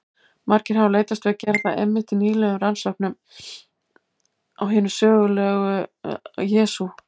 Margir hafa leitast við að gera það einmitt í nýlegum rannsóknum á hinum sögulega Jesú.